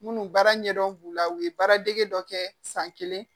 Munnu baara ɲɛdɔn b'u la u ye baaradege dɔ kɛ san kelen